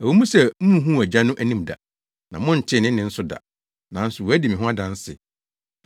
Ɛwɔ mu sɛ munhuu Agya no anim da, na montee ne nne nso da, nanso wadi me ho adanse.